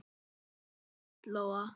Ekki satt Lóa?